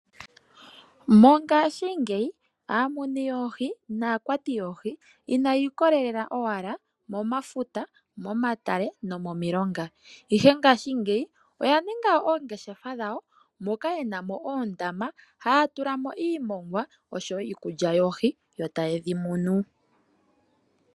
Mongaashingeyi aamunu naakwati yoohi inayi ikolela owala momafuta ,momatale nomomilongo ihe ngashingeyi oya ninga oongeshefa dhawo moka yenamo oondama taya tulamo iimongwa oshowo iikulya yoohi yotaye shi munu.